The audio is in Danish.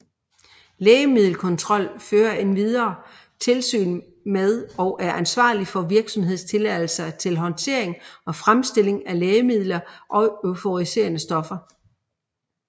Lægemiddelkontrol fører endvidere tilsyn med og er ansvarlig for virksomhedstilladelser til håndtering og fremstilling af lægemidler og euforiserende stoffer